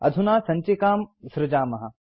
अधुना सञ्चिकां सृजामः